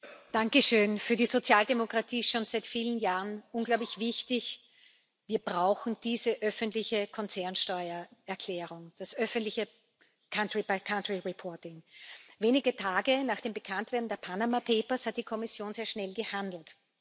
Herr Präsident! Für die Sozialdemokratie schon seit vielen Jahren unglaublich wichtig Wir brauchen diese öffentliche Konzernsteuererklärung, die öffentliche länderbezogene Berichterstattung Wenige Tage nach dem Bekanntwerden der hat die Kommission sehr schnell gehandelt.